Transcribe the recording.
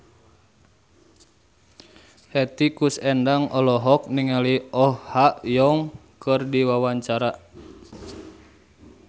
Hetty Koes Endang olohok ningali Oh Ha Young keur diwawancara